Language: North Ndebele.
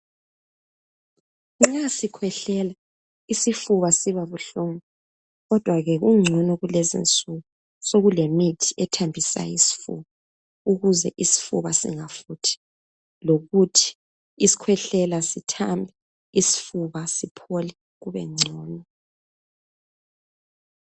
Nxa sikhwehlela isifuba siba buhlungu ,kodwake kungcono kulezinsuku sokulemithi ethambisayo isifuba. Ukuze isifuba singafuthi ,lokuthi isikhwehlela sithambe isifuba siphole kubengcono .